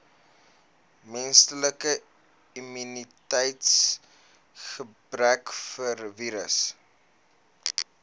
menslike immuniteitsgebrekvirus